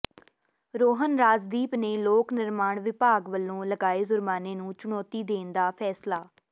ਰੋਹਨ ਰਾਜਦੀਪ ਨੇ ਲੋਕ ਨਿਰਮਾਣ ਵਿਭਾਗ ਵਲੋਂ ਲਗਾਏ ਜੁਰਮਾਨੇ ਨੂੰ ਚੁਣੌਤੀ ਦੇਣ ਦਾ ਫ਼ੈਸਲਾ